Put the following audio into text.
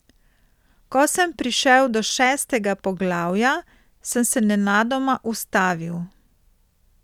Ko sem prišel do šestega poglavja, sem se nenadoma ustavil.